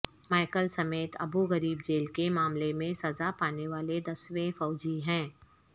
Michael Smith Abu Ghraib jail کے معاملے میں سزا پانے والے دسویں فوجی ہیں